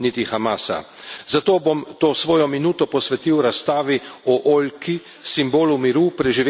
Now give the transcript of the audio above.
Zato bom to svojo minuto posvetil razstavi o oljki, simbolu miru, preživetja in sožitja.